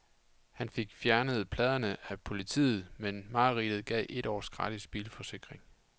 Han fik fjernet pladerne af politiet, men mareridtet gav et års gratis bilforsikring.